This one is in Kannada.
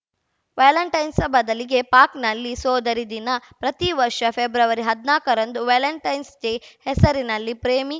ವ್ಯಾಲಂಟೇನ್ಸ್‌ ಬದಲಿಗೆ ಪಾಕ್‌ನಲ್ಲಿ ಸೋದರಿ ದಿನ ಪ್ರತಿ ವರ್ಷ ಫೆಬ್ರವರಿ ಹದ್ನಾಕರಂದು ವ್ಯಾಲಂಟೇನ್ಸ್‌ ಡೇ ಹೆಸರಲ್ಲಿ ಪ್ರೇಮಿ